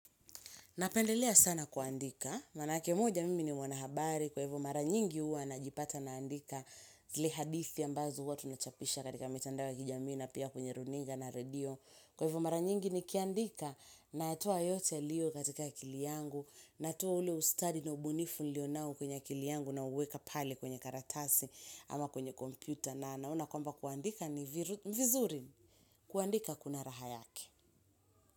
Napendelea sana kuandika, maana ake moja mimi ni mwanahabari kwa hivyo mara nyingi huwa najipata naandika zile hadithi ambazo huwa tunachapisha katika mitando ya kijamii na pia kwenye runinga na redio. Kwa hivyo mara nyingi nikiandika natoa yote yalio katika akili yangu, natoa ule ustadi na ubunifu nilio nao kwenye akili yangu nauweka pale kwenye karatasi ama kwenye kompyuta na naona kwamba kuandika ni vizuri kuandika kuna raha yake.